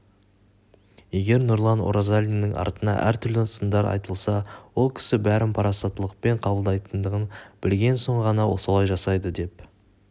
егер нұрлан орзалиннің атына әртүрлі сындар айтылса ол кісі бәрін парасаттылықпен қабылдайтындығын білген соң ғана солай жасайды деп